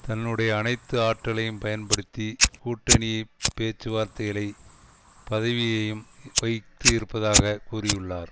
தன்னுடைய அனைத்து ஆற்றலையும் பயன்படுத்தி கூட்டணி பேச்சு வார்த்தைகளை பதவியையும் வகித்து இருப்பதாக கூறியுள்ளார்